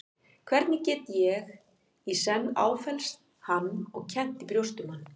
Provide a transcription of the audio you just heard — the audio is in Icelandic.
Hvernig get ég í senn áfellst hann og kennt í brjósti um hann?